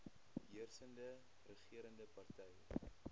heersende regerende party